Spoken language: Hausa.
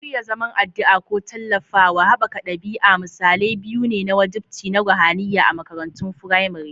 Shirya zaman addu'a ko tallafawa haɓaka ɗabi'a misalai biyu ne na wajibci na ruhaniya a makarantun firamare.